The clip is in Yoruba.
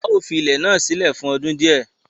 Áà ó fi ilẹ̀ náà sílẹ̀ fún ọdún di ẹ